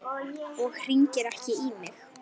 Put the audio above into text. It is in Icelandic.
Og hringir ekki í mig.